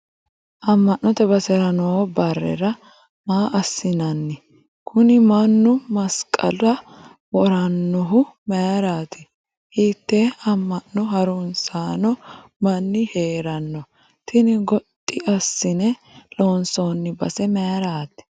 ammannote basera noo barera maa assinanni? kuni mannu masqala worannohu mayiiraati? hiitte ammano harunsanno mani heeranno? tini goxxi assine loonsoonni base mayiirati?